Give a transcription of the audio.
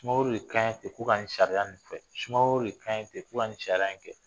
Sumaworo de kan ye ten ko ka nin sariya fɛ sumaworo de an ye ten ko ka nin sariya in kɛ